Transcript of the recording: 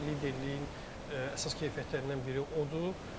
Liderliyin əsas keyfiyyətlərindən biri odur.